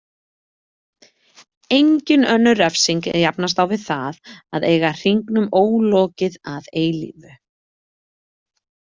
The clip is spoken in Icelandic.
Engin önnur refsing jafnast á við það að eiga hringnum ólokið að eilífu.